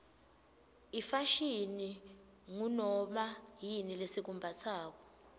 ifashini ngunoma yini lesikumbatsako